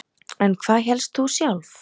En hvað hélst þú sjálf?